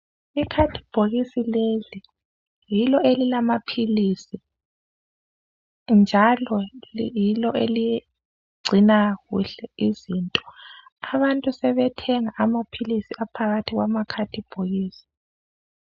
Ikhadibhokisi leli yilo elilamapilisi, njalo yilo eligcina kuhle izinto. Abantu sebethenga amapilisi aphakathi kwama khadibhokisi.